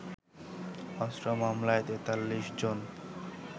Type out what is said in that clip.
অস্ত্র মামলায় ৪৩ জন